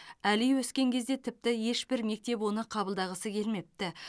әли өскен кезде тіпті ешбір мектеп оны қабылдағысы келмепті